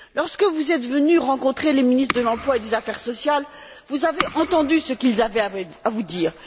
Lorsque vous êtes venu rencontrer les ministres de l'emploi et des affaires sociales, vous avez entendu ce qu'ils avaient à vous dire.